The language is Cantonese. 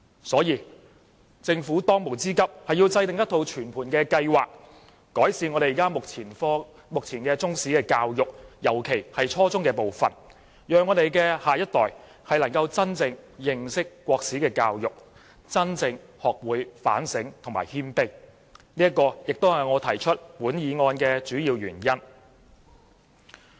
所以，政府當務之急是要制訂全盤計劃，改善目前的中史科教育，尤其是初中階段，讓香港的下一代能夠真正認識中國歷史，學會反省和謙卑，這是我提出這項議案的主要原因。